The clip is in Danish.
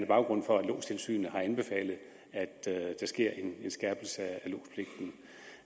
baggrund for at lodstilsynet har anbefalet at der sker en skærpelse